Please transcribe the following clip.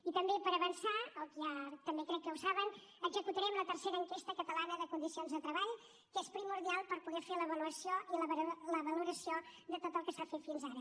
i també per avançar que ja crec que ho saben executarem la tercera enquesta catalana de condicions de treball que és primordial per poder fer l’avaluació i la valoració de tot el que s’ha fet fins ara